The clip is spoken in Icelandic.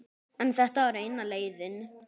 En þetta var eina leiðin.